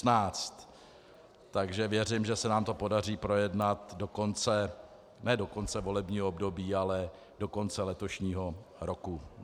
Takže věřím, že se nám to podaří projednat do konce - ne do konce volebního období, ale do konce letošního roku.